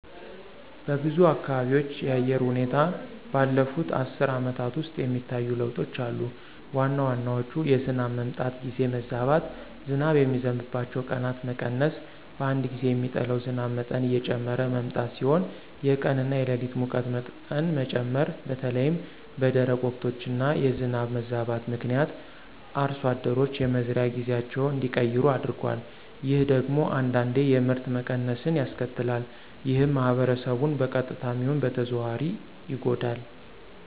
በብዙ አካባቢዎች የአየር ሁኔታ ባለፉት አስርት ዓመታት ውስጥ የሚታዩ ለውጦች አሉ። ዋና ዋናዎቹ የዝናብ መምጣት ጊዜ መዛባት፣ ዝናብ የሚዘንብባቸው ቀናት መቀነስ፣ በአንድ ጊዜ የሚጥለው ዝናብ መጠን እየጨመረ መምጣት ሲሆኑ የቀን እና የሌሊት ሙቀት መጠን መጨመር በተለይም በደረቅ ወቅቶች እና የዝናብ መዛባት ምክንያት አርሶ አደሮች የመዝሪያ ጊዜያቸውን እንዲቀይሩ አድርጓል። ይህ ደግሞ አንዳንዴ የምርት መቀነስን ያስከትላል። ይህም ማህበረሰቡን በቀጥታም ይሁን በተዘዋዋሪ ይጎዳል።